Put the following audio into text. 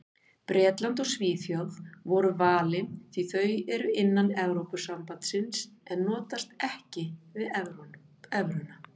Bretland og Svíþjóð voru valin því þau eru innan Evrópusambandsins en notast ekki við evruna.